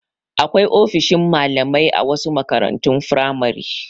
Akwai ofishin malamai a wasu makarantun firamare.